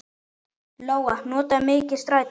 Lóa: Notarðu mikið strætó?